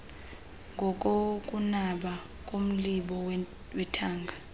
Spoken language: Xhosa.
ngokokunaba komlibo wethanga